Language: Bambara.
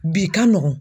Bi ka nɔgɔn